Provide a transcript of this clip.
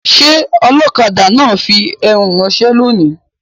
Ṣé ọlọ́kadà náà ń fi ẹrù ránṣẹ́ lónìí?